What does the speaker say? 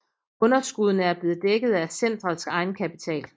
Underskuddene er blevet dækket af centrets egenkapital